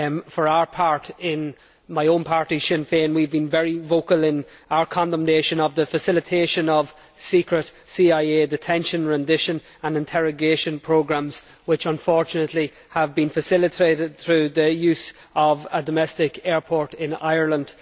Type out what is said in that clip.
For our part, in my own party, Sinn Féin, we have been very vocal in our condemnation of the facilitation of secret CIA detention, rendition and interrogation programmes, which unfortunately have been facilitated through the use of a domestic airport in Ireland.